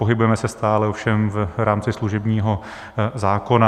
Pohybujeme se stále ovšem v rámci služebního zákona.